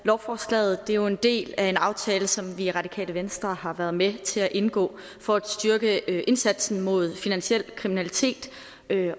lovforslaget er jo en del af en aftale som vi i radikale venstre har været med til at indgå for at styrke indsatsen mod finansiel kriminalitet